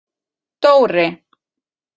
Dóri